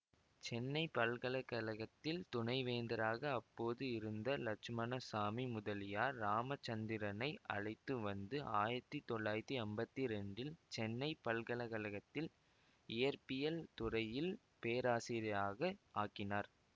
சென்னை பல்கலை கழகத்தில் துணை வேந்தராக அப்போது இருந்த இலட்சுமணசாமி முதலியார் இராமச்சந்திரனை அழைத்துவந்து ஆயிரத்தி தொள்ளாயிரத்தி அம்பத்தி இரண்டில் சென்னை பல்கலக்கழகத்தில் இயற்பியல் துறையில் பேராசிரியராக ஆக்கினார்